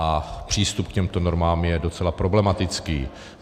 A přístup k těmto normám je docela problematický.